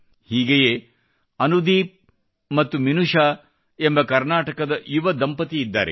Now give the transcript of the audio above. ಹೀಗೆಯೇ ಅನುದೀಪ್ ಮತ್ತು ಮಿನುಷಾ ಎಂಬ ಕರ್ನಾಟಕದ ಯುವ ದಂಪತಿ ಇದ್ದಾರೆ